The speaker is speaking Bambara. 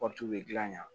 bɛ dilan